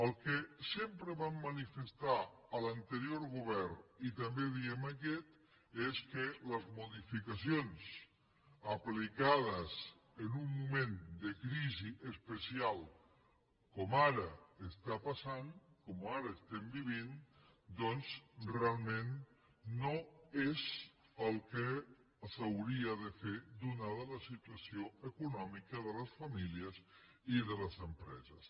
el que sempre vam manifestar a l’anterior govern i també diem en aquest és que les modificacions aplicades en un moment de crisi especial com ara està passant com ara estem vivint doncs realment no és el que s’hauria de fer atesa la situació econòmica de les famílies i de les empreses